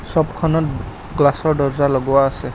ছপখনত গ্লাছৰ দৰ্জা লগোৱা আছে।